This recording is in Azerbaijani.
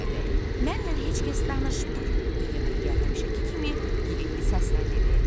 Mənnən heç kəs danışmır, İya-İya həmişəki kimi giləyli səslə dedi.